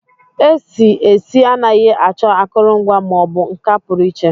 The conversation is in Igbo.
Esi esi anaghị achọ akụrụngwa ma ọ bụ nka pụrụ iche.